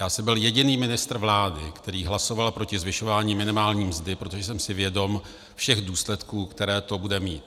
Já jsem byl jediný ministr vlády, který hlasoval proti zvyšování minimální mzdy, protože jsem si vědom všech důsledků, které to bude mít.